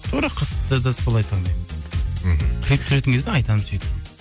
тура қызды да солай таңдаймын мхм клип түсіретін кезде айтамын сөйтіп